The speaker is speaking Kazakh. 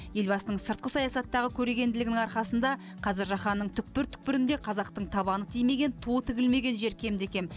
елбасының сыртқы саясаттағы көрегенділігінің арқасында қазір жаһанның түкпір түкпірінде қазақтың табаны тимеген туы тігілмеген жер кемде кем